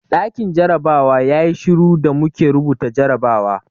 Ɗakin jarabawa yayi shiru da muke rubuta jarrabawa.